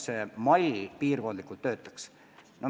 See mall peaks piirkondlikult töötama.